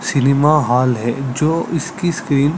cinema hall है जो इसकी स्क्रीन --